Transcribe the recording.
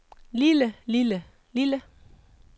lille lille lille